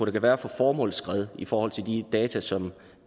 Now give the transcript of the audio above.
kan være for formålsskred i forhold til de data som